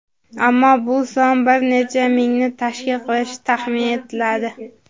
Ammo bu son bir necha mingni tashkil qilishi taxmin etladi.